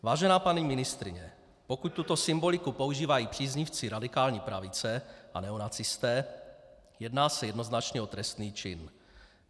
Vážená paní ministryně, pokud tuto symboliku používají příznivci radikální pravice a neonacisté, jedná se jednoznačně o trestný čin.